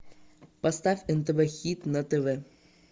поставь нтв хит на тв